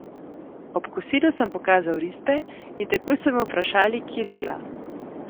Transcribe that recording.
Ob kosilu sem pokazal risbe in takoj so me vprašali, kje dela.